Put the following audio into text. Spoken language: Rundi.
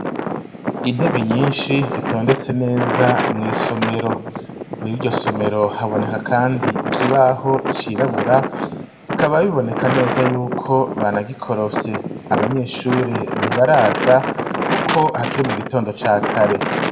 Intebe nyinshi zitondetse neza mw'isomero, muri iryo somero haboneka kandi ikibaho cirabura, bikaba biboneka neza y'uko banagikorofye; abanyeshure ntibaraza kuko hakire mu gitondo ca kare.